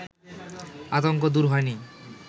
আতঙ্ক দূর হয়নি